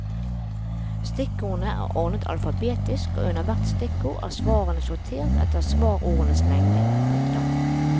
Stikkordene er ordnet alfabetisk og under hvert stikkord er svarene sortert etter svarordenes lengde. punktum